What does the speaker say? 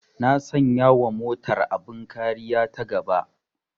Na sanya wa motar abin kariya ta gaba